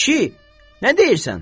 Kişi, nə deyirsən?